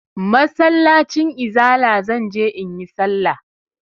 Masallacin izala zan je in yi sallah.